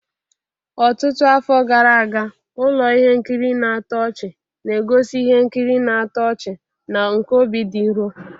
Ọtụtụ afọ gara aga, ụlọ ihe nkiri na-atọ ọchị na-egosi ihe nkiri na-atọ ọchị na nke obi dị nro.